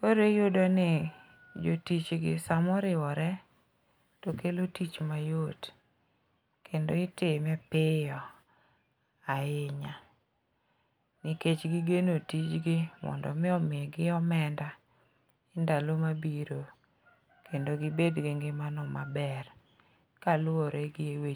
Koro iyudo ni jotich gi samoriwore to kelo tich mayot, kendo itime piyo ahinya, nikech gigeno tijgi mondo omi omigi omenda ndalo mabiro kendo gibed gi ngimano maber kaluwore gi